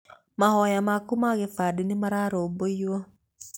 Mahoya maku ma kĩbandĩ nĩmararũmbũiyo.